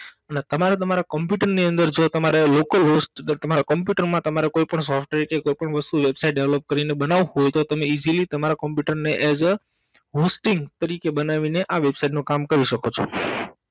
ને તમારે તમારા કમ્પ્યુટરની અંદર જો તમારે લોકલ host તમારા કોમ્પુટરમાં તમારે કોઈ પણ software કે કોઈ પણ વસ્તુ Website Develop કરીને બનાવવું હોય તો easily એજ અ hosting તરીકે બનાવીને આ website નું કામ કરી સકો છો.